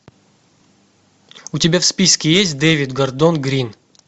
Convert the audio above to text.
у тебя в списке есть дэвид гордон грин